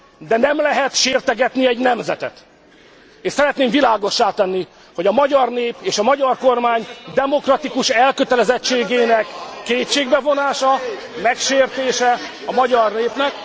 de nem lehet sértegetni egy nemzetet. És szeretném világossá tenni, hogy a magyar nép és a magyar kormány demokratikus elkötelezettségének kétségbevonása, megsértése a magyar népnek